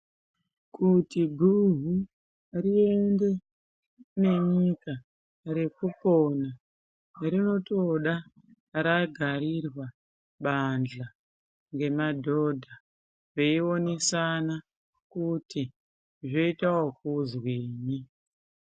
Kuti guhu riende nenyika rekupona rinotoda ragarirwa banhla ngemadhodha eyionesana kuti zvoita wekuzwini.